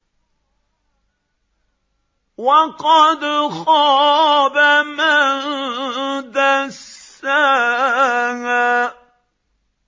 وَقَدْ خَابَ مَن دَسَّاهَا